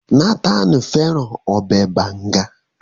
Nathan fẹràn Ọbẹ̀ banga